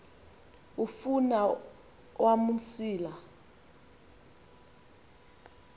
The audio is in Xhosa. afun awam umsila